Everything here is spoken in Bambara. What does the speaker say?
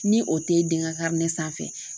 Ni o te den ka sanfɛ